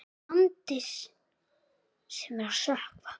Landi sem er að sökkva.